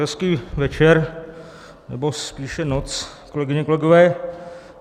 Hezký večer, nebo spíše noc, kolegyně, kolegové.